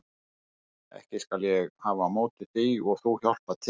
Ekki skal ég hafa á móti því að þú hjálpir til.